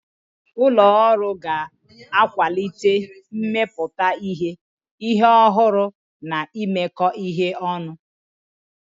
Ụlọ ọrụ ga-akwalite mmepụta ihe, ihe ọhụrụ na imekọ ihe ọnụ.